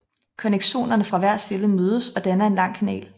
Connexonerne fra hver celle mødes og danner en lang kanal